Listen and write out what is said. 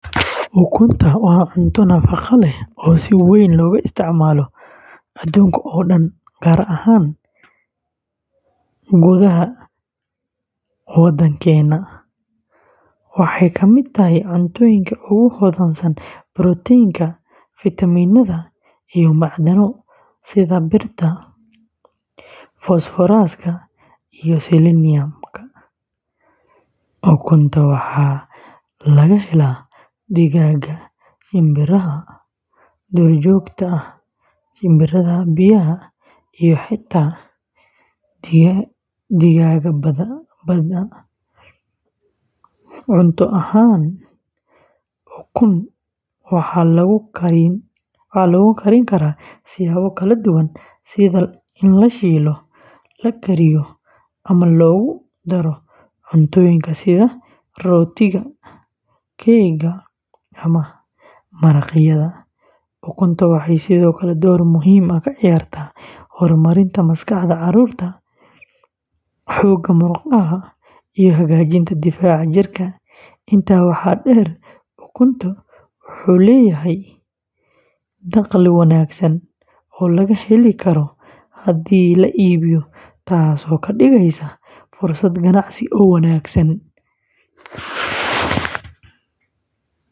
Ukunta waa cunto nafaqo leh oo si weyn looga isticmaalo adduunka oo dhan, gaar ahaan gudaha Soomaaliya. Waxay ka mid tahay cuntooyinka ugu hodansan borotiinka, fiitamiinnada, iyo macdano sida birta, fosfooraska, iyo seleniumka. Ukunta waxaa laga helaa digaagga, shinbiraha duurjoogta ah, shinbiraha biyaha, iyo xitaa digaagga badda. Cunto ahaan, ukun waxaa lagu karin karaa siyaabo kala duwan sida la shiilo, la kariyo, ama loogu daro cuntooyinka sida rootiga, keega, ama maraqyada. Ukunta waxay sidoo kale door muhiim ah ka ciyaartaa horumarinta maskaxda carruurta, xoogga murqaha, iyo hagaajinta difaaca jirka. Intaa waxaa dheer, ukun wuxuu leeyahay dakhli wanaagsan oo laga heli karo haddii la iibiyo, taasoo ka dhigaysa fursad ganacsi oo wanaagsan.